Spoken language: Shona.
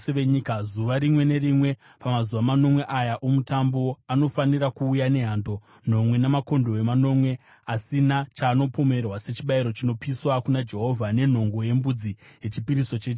Zuva rimwe nerimwe pamazuva manomwe aya oMutambo, anofanira kuuya nehando nomwe namakondobwe manomwe asina chaanopomerwa sechibayiro chinopiswa kuna Jehovha, nenhongo yembudzi yechipiriso chechivi.